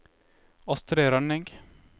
Astrid Rønning